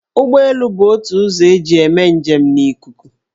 Ụgbọelu bụ ótù ụzọ eji eme njem n' ikuku.